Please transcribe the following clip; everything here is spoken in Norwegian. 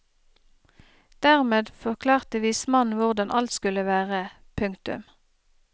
Dermed forklarte vismannen hvordan alt skulle være. punktum